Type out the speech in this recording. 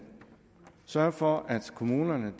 sørge for at kommunerne